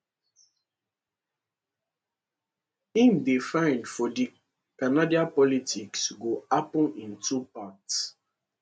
im dey find for di canadian politics go happun in two parts